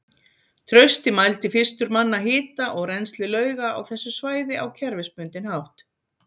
Trausti mældi fyrstur manna hita og rennsli lauga á þessu svæði á kerfisbundinn hátt.